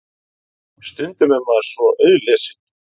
Stundum er maður svo auðlesinn.